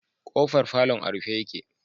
K'ofar falon a rufe yake.